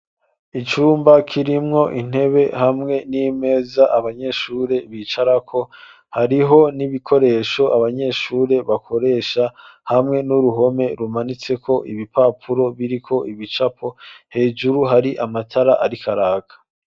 Icumba kirimwo intebe hamwe n'imeza abanyeshure bicarako hariho n'ibikoresho abanyeshure bakoresha hamwe n'uruhome rumanitse ko ibipapuro biriko ibicapo hejuru hari amatara arikaraka.